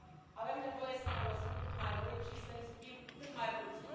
Avem nevoie să folosim cât mai mult și să risipim cât mai puțin.